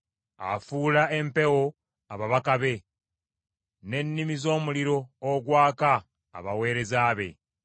Afuula empewo ababaka be, n’ennimi z’omuliro ogwaka abaweereza be.